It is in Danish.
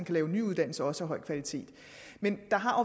lave nye uddannelser også af høj kvalitet men der har